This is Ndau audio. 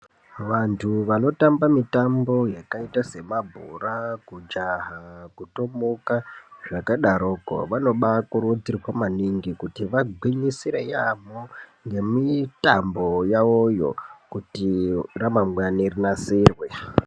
Vantu vanotamba mitambo yakaita semabhora kujaha ,kutomuka zvakadaroko, vanombaakurudzirwa maningi kuti vagwinyisire yaamho, ngemitambo yavoyo kuti ramangwani rinase ku..